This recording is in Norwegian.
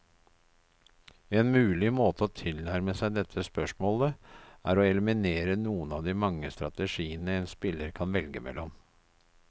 En mulig måte å tilnærme seg dette spørsmålet, er å eliminere noen av de mange strategiene en spiller kan velge mellom.